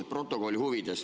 Stenogrammi huvides.